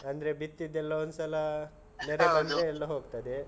ಅಂದ್ರೆ ಬಿತ್ತಿದ್ದೆಲ್ಲ ಒಂದ್ಸಲ ಎಲ್ಲ ಹೋಗ್ತದೆ.